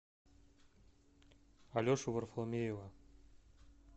алешу варфоломеева